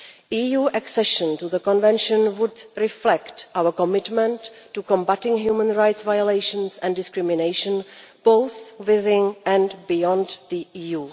EU accession to the Convention would reflect our commitment to combating human rights violations and discrimination, both within and beyond the EU.